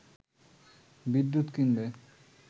বিদ্যুৎ কিনবে